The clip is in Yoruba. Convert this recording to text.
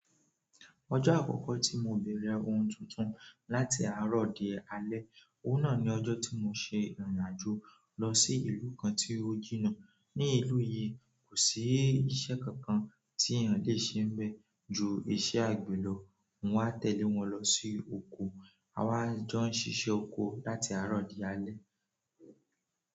Ojó àkókò tí mo bèrè ohun tuntun láti àárò di alẹ́, òun náà ni ọjọ́ tí mo ṣe ìrìn àjò lọ sí ìlú kan tí ó jìnnà. Ní ìlú yìí, kò sí ìṣe kankan tí èèyàn le ṣe bẹ́ẹ̀ ju ìṣe àgbèrò. Mo wá tẹ̀lé wọn lọ sí oko, a wá jọ ń ṣíṣe oko láti àárọ̀ di alẹ́.